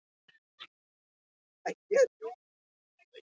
Nokkrum blaðsíðum aftar fær hann sér hins vegar sígarettu.